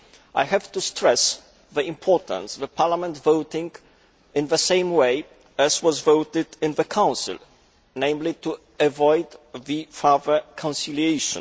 I have to stress the importance of Parliament voting in the same way as was voted in the Council, namely, to avoid further conciliation.